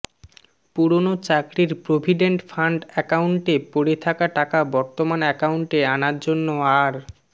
পুরনো চাকরির provident fund অ্যাকাউন্টে পড়ে থাকা টাকা বর্তমান অ্যাকাউন্টে আনার জন্য আর